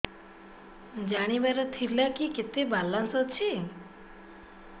ଜାଣିବାର ଥିଲା କି କେତେ ବାଲାନ୍ସ ଅଛି